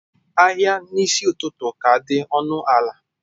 Ahịa n'isi ụtụtụ ka dị ọnụ ala